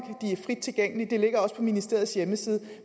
de er frit tilgængelige og ligger også på ministeriets hjemmeside